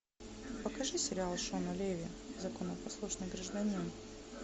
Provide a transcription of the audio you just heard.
покажи сериал шона леви законопослушный гражданин